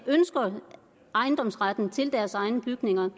ønsker ejendomsretten til deres egne bygninger